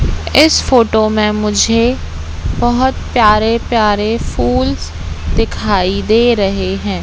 इस फोटो में मुझे बोहोत प्यारे प्यारे फूल्स दिखाई दे रहे हैं।